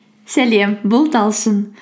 сәлем бұл талшын